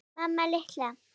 Mamma litla!